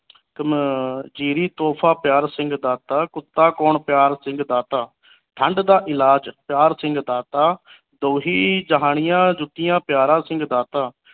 ਆਹ ਤੋਹਫ਼ਾ ਪਿਆਰਾ ਸਿੰਘ ਦਾਤਾ ਕੁੱਤਾ ਕੌਣ ਪਿਆਰ ਸਿੰਘ ਦਾਤਾ ਠੰਡ ਦਾ ਇਲਾਜ ਪਿਆਰ ਸਿੰਘ ਦਾਤਾ ਦੋਹੀਂ ਜਹਾਨੀਆਂ ਜੁੱਤੀਆਂ ਪਿਆਰਾ ਸਿੰਘ ਦਾਤਾ